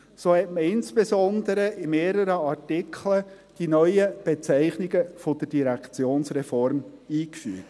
So hat man insbesondere in mehreren Artikeln die neuen Bezeichnungen der Direktionsreform eingefügt.